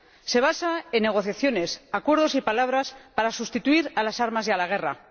Se basa en negociaciones, acuerdos y palabras para sustituir a las armas y a la guerra.